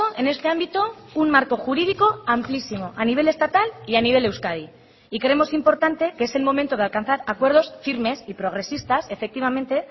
en este ámbito un marco jurídico amplísimo a nivel estatal y a nivel de euskadi y creemos importante que es el momento de alcanzar acuerdos firmes y progresistas efectivamente